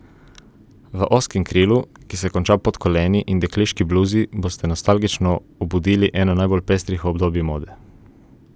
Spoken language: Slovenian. V ozkem krilu, ki se konča pod koleni, in dekliški bluzi boste nostalgično obudili eno najbolj pestrih obdobij mode.